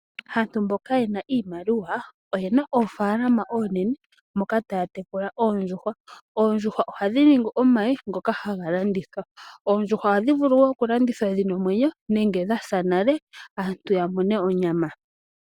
Aantu mboka yena iimaliwa oyena oofalama oonene moka taya tekula oondjuhwa. Oondjuhwa ohadhi li omayi ngoka haga landithwa. Oondjuhwa ohadhi vulu wo okulandithwa dhina omwenyo nenge dhasa nale, aantu ya mone onyama.